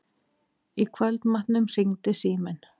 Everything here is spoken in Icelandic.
Í kvöldmatnum hringdi síminn.